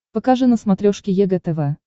покажи на смотрешке егэ тв